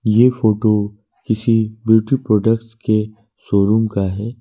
ये फोटो किसी beauty products के शोरूम का है।